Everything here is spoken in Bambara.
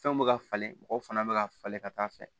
Fɛnw bɛ ka falen mɔgɔw fana bɛ ka falen ka taa fɛ